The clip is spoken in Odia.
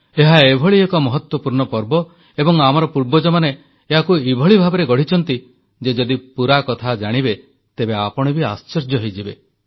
ଏହା ଏଭଳି ଏକ ମହତ୍ୱପୂର୍ଣ୍ଣ ପର୍ବ ଏବଂ ଆମର ପୂର୍ବଜମାନେ ୟାକୁ ଏଭଳି ଭାବରେ ଗଢ଼ିଛନ୍ତି ଯେ ଯଦି ପୂରାକଥା ଜାଣିବେ ତେବେ ଆପଣ ବି ଆଶ୍ଚର୍ଯ୍ୟ ହୋଇଯିବେ